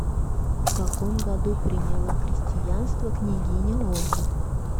в каком году принела кристиянство княгиня ольга